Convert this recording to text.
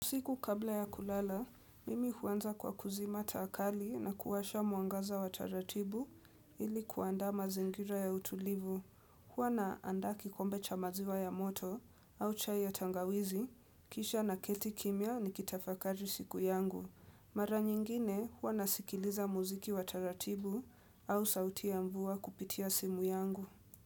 Siku kabla ya kulala, mimi huanza kwa kuzima taa kali na kuwasha mwangaza wa taratibu ili kuandaa mazingira ya utulivu. Huwa na andaa kikombe cha maziwa ya moto au chai ya tangawizi, kisha na keti kimya ni kitafakali siku yangu. Mara nyingine, huwa nasikiliza muziki wa taratibu au sauti ya mvua kupitia simu yangu.